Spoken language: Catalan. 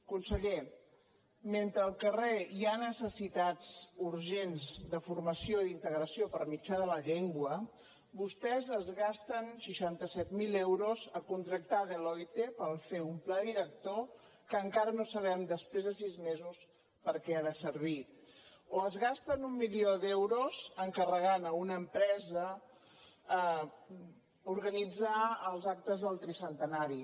conseller mentre al carrer hi ha necessitats urgents de formació i integració per mitjà de la llengua vostès es gasten seixanta set mil euros a contractar deloitte per fer un pla director que encara no sabem després de sis me·sos perquè ha de servir o es gasten un milió d’euros encarregant a una empresa organitzar els actes del tri·centenari